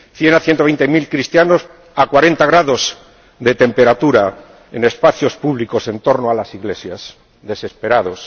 De cien a ciento veinte mil cristianos a cuarenta grados de temperatura, en espacios públicos en torno a las iglesias, desesperados.